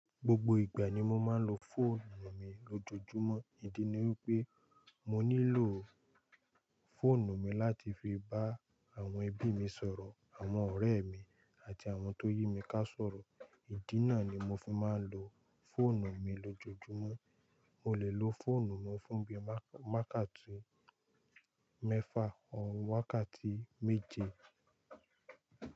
Gbogbo ìgbà ni mo máa ń lo fóònù mi lójoojúmọ́, ìdí ni wípé mo nílò fóònù mi láti fi bá àwọn ẹbí mi sọ̀rọ̀, àwọn ọ̀rẹ́ mi àti àwọn tó yí mi ká sọ̀rọ̀. Ìdí náà ni mo fi máa ń lo fóònù mi lójoojúmọ́. Mo lè lo fóònù mi fún bí i wákàtún mẹ́fà orí wákàtí méje.